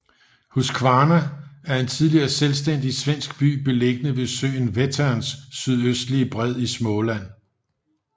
Huskvarna er en tidligere selvstændig svensk by beliggende ved søen Vätterns sydøstlige bred i Småland